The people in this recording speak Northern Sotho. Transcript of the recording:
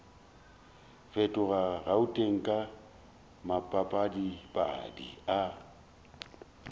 fetoga gauteng ka maphadiphadi a